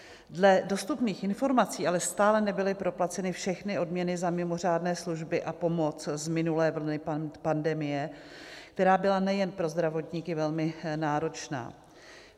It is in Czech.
Dle dostupných informací ale stále nebyly proplaceny všechny odměny za mimořádné služby a pomoc z minulé vlny pandemie, která byla nejen pro zdravotníky velmi náročná.